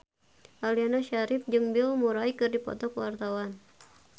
Aliando Syarif jeung Bill Murray keur dipoto ku wartawan